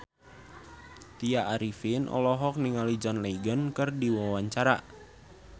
Tya Arifin olohok ningali John Legend keur diwawancara